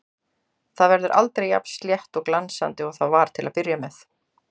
Það verður aldrei jafn slétt og glansandi og það var til að byrja með.